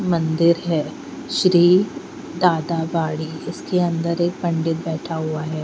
मंदिर है श्री दादागाळी इसके अंदर एक पंडित बैठा हुआ है।